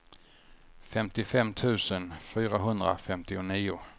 femtiofem tusen fyrahundrafemtionio